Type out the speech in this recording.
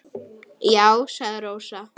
Já, sagði Rósa.